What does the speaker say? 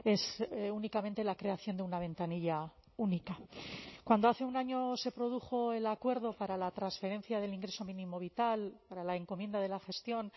es únicamente la creación de una ventanilla única cuando hace un año se produjo el acuerdo para la transferencia del ingreso mínimo vital para la encomienda de la gestión